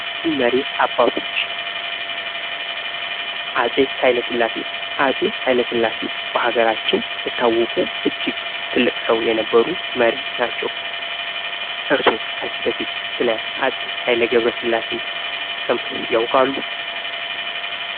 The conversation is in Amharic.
ታዋቂ መሪዎች አባቶች አጼ ኃይለሥላሴ አጼ ኃይለሥላሴ በሀገራችን የታወቁ እጅግ ትልቅ ሰው የነበሩ መሪ ናቸው። እርስዎ ከዚህ በፊት ስለ አጼ ኃይለሥላሴ ሰምተው ያውቃሉ?